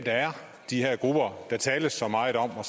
de her grupper der tales så meget om er